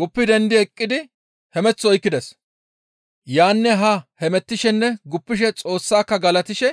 Guppi dendi eqqidi hemeth oykkides. Yaanne haa hemettishenne guppishe Xoossaka galatishe